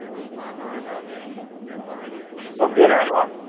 দম দিয়ে নাই ঘৰত